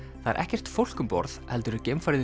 það er ekkert fólk um borð heldur er geimfarið